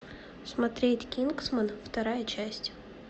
смотреть кингсман вторая часть